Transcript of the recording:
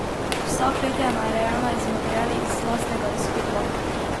Vsa klet je narejena z materiali iz lastnega izkopa.